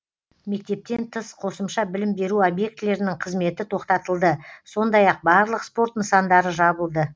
мектептен тыс қосымша білім беру объектілерінің қызметі тоқтатылды сондай ақ барлық спорт нысандары жабылды